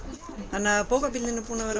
þannig að bókabílinn er búinn að vera